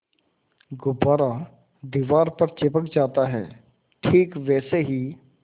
गुब्बारा दीवार पर चिपक जाता है ठीक वैसे ही